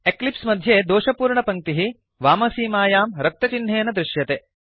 Eclipse मध्ये दोषपूर्णपङ्क्तिः वामसीमायां रक्तचिह्नेन दृश्यते